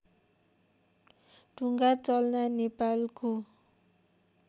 ढुङ्गाचल्ना नेपालको